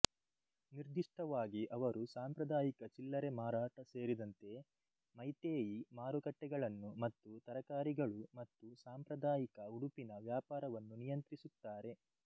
ನಿರ್ದಿಷ್ಟವಾಗಿ ಅವರು ಸಾಂಪ್ರದಾಯಿಕ ಚಿಲ್ಲರೆ ಮಾರಾಟ ಸೇರಿದಂತೆ ಮೈತೆಯಿ ಮಾರುಕಟ್ಟೆಗಳನ್ನು ಮತ್ತು ತರಕಾರಿಗಳು ಮತ್ತು ಸಾಂಪ್ರದಾಯಿಕ ಉಡುಪಿನ ವ್ಯಾಪಾರವನ್ನು ನಿಯಂತ್ರಿಸುತ್ತಾರೆ